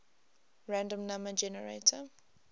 random number generator